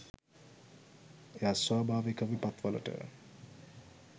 එයා ස්වාභාවික විපත්වලට